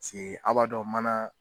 Piseke aw b'a dɔ mana